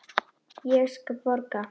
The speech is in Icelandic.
Ég borga.